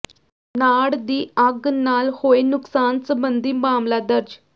ਨਾੜ ਦੀ ਅੱਗ ਨਾਲ ਹੋਏ ਨੁਕਸਾਨ ਸਬੰਧੀ ਮਾਮਲਾ ਦਰਜ